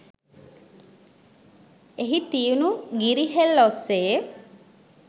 එහි තියුණු ගිරි හෙල් ඔස්සේ